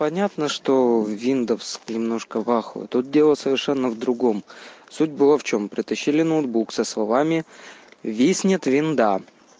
понятно что виндовс немножко в ахуе тут дело совершенно в другом суть была в чём притащили ноутбук со словами виснет винда